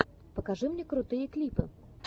покажи мне крутые клипы